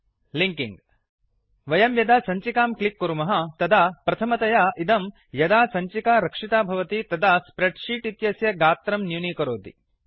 linking वयं यदा सञ्चिकां क्लिक् कुर्मः तदा प्रथमतया इदं यदा सञ्चिका रक्षिता भवति तदा स्प्रेड् शीट् इत्यस्य गात्रं न्यूनीकरोति